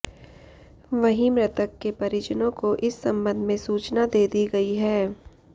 वहीं मृतक के परिजनों को इस संबंध में सूचना दे दी गई है